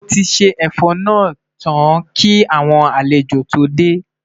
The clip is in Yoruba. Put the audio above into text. Moti ṣé ẹfọ nà tán kí àwọn àlejò tó dé